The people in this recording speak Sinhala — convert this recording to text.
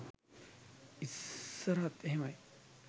ඉස්සරත් එහෙමයි